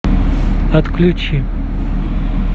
отключи